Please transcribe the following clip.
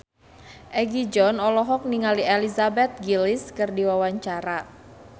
Egi John olohok ningali Elizabeth Gillies keur diwawancara